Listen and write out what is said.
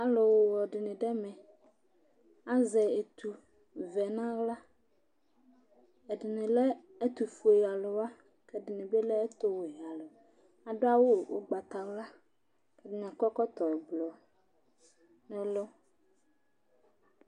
Alʋwɔ dɩnɩ dʋ ɛmɛ, azɛ etuvɛ nʋ aɣla Ɛdɩnɩ lɛ ɛtʋfuealʋ wa kʋ ɛdɩnɩ bɩ lɛ ɛtʋwɛalʋ Adʋ awʋ ʋgbatawla kʋ ɛdɩnɩ akɔ ɛkɔtɔblɔ nʋ ɛlʋ